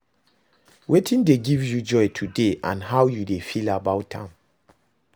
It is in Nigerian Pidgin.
Wetin dey give you joy today and how you dey feel about am?